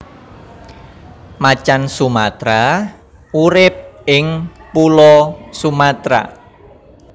Macan Sumatra urip ing Pulo Sumatra